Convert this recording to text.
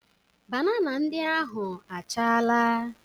Banana ndị ahụ achaala.